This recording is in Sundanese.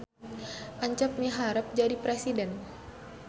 Encep miharep jadi presiden